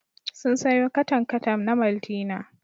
Sun sayo katan-katan na maltina.